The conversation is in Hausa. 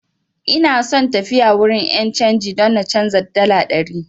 Ina so tafiya wurin 'yan canji don na canza dala ɗari.